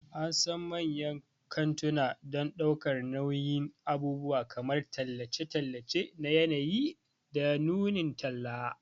An san manyan kantuna don ɗaukar nauyin abubuwan kamar tallace-tallace na yanayi da nunin talla.